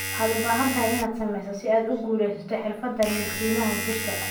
Waxaad u baahan tahay in aad samayso si aad u guuleysto xirfadaha milkiilaha jirka.